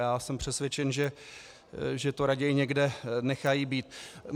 Já jsem přesvědčen, že to raději někde nechají být.